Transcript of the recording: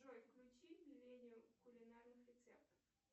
джой включи миллениум кулинарных рецептов